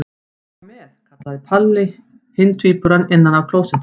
Má ég koma með? kallaði Palla hinn tvíburinn innan af klósetti.